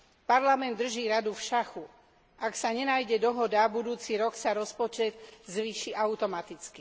Parlament drží Radu v šachu a ak sa nenájde dohoda, budúci rok sa rozpočet zvýši automaticky.